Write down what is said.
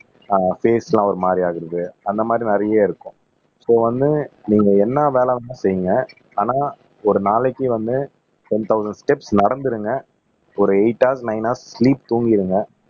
அஹ் பேஸ் எல்லாம் ஒரு மாரி ஆகறது அந்த மாரி நிறைய இருக்கும் சோ ஒன்னு நீங்க என்ன வேலை ஆனா ஒரு நாளைக்கு வந்து டென் தொளசண்ட் ஸ்டெப்ஸ் நடந்துருங்க ஒரு eight hours nine hours sleep தூங்கிருங்க